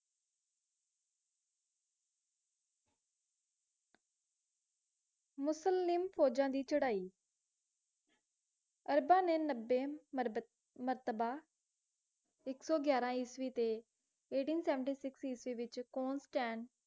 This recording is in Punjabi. ਮਿਸਰ ਲਈ ਫੌਜਾਂ ਦੀ ਚੜ੍ਹਾਈ ਅਰਬਾਂ ਨੇ ਮਰਬੇਨ`ਮਰਤਬਾਂ ਇੱਕ ਸੌ ਗਿਆਰਾਂ ਇਸਵੀਂ ਤੇ eighteen seventy six ਇਸਵੀਂ ਵਿੱਚ ਕੋਂਸਟੈਂਟ